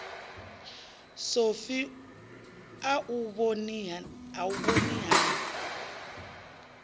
sofi a u vhoni ha